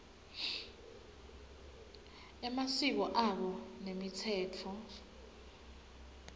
emasiko abo nemitsetfo